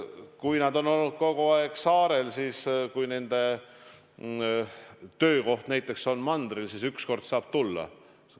Kui nad on olnud kogu aeg saarel, aga nende töökoht näiteks on mandril, siis üks kord saavad nad tulla.